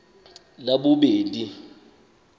labobedi